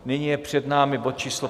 Nyní je před námi bod číslo